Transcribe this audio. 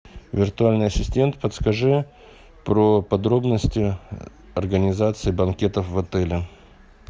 виртуальный ассистент подскажи про подробности организации банкетов в отеле